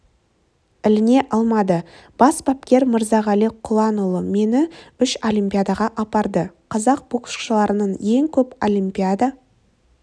іліне алмады бас бапкер мырзағали құланұлы мені үш олимпиадаға апарды қазақ боксшыларынан ең көп олимпиада